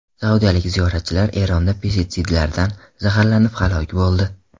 Saudiyalik ziyoratchilar Eronda pestitsidlardan zaharlanib halok bo‘ldi.